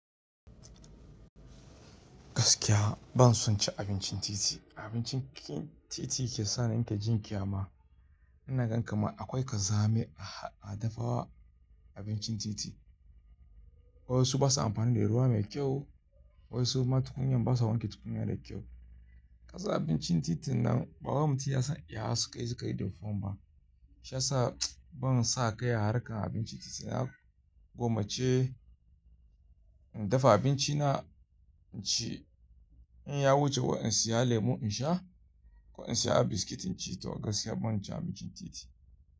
Gaskiya ban son cin abincin titi. Abincin titi ke sa ni in ta ji ƙyama. Ina gan kamar akwai ƙazami a dafawa abincin titi. Wasu ba sa amfani da ruwa mai kyau, wasu ma tukunya ba sa wanke tukunya da kyau. Ƙasa abincin titin nan babbar mutum ya san iya hasu kai zai kai dufawa. Shiya sa ban sa kai a harkar abinci titi. Na gommace in dafa abinci na inci. In ya wuce wai in saya lemu in sha ko in saya biskit inci ta gaskiya ban cin abincin titi.